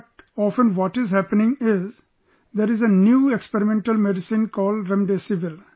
But often what is happening is there is a new experimental medicine called Remdesivir